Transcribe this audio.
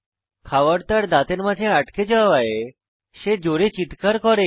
খাওয়ার তার দাঁতের মাঝে আটকে যাওয়ায় সে জোরে চিত্কার করে